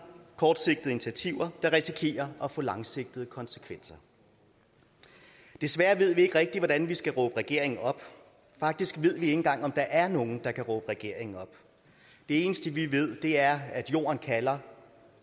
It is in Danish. kortsigtede initiativer der risikerer at få langsigtede konsekvenser desværre ved vi ikke rigtig hvordan vi skal råbe regeringen op faktisk ved vi ikke engang om der er nogen der kan råbe regeringen op det eneste vi ved er at jorden kalder